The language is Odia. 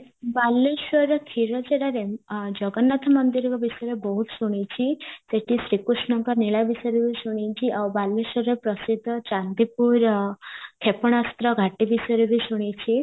ବାଲେଶ୍ଵରରେ କ୍ଷୀର ଚୋରା ଜଗନ୍ନାଥ ମନ୍ଦିରଙ୍କ ବିଷୟରେ ବହୁତ ଶୁଣିଚି ସେଠି ଶ୍ରୀକୃଷ୍ଣଙ୍କ ନୀଳା ବିଷୟରେ ବି ଶୁଣିଚି ଆଉ ବାଲେଶ୍ଵରରେ ପ୍ରସିଦ୍ଧ ଚାନ୍ଦିପୁର କ୍ଷେପଣାସ୍ତ୍ର ଘାଟୀ ବିଷୟରେ ବି ଶୁଣିଚି